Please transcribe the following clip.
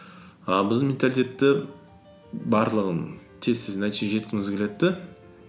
а біздің менталитетті барлығын тез тез нәтижеге жеткізгіміз келеді де